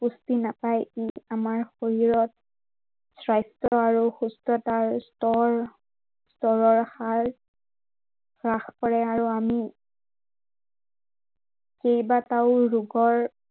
পুষ্টি নাপায়, ই আমাৰ শৰীৰত স্বাস্থ্য় আৰু সুস্থতাৰ স্তৰ স্তৰৰ হাৰ হ্ৰাস কৰে আৰু আমি কেইবাটাও ৰোগৰ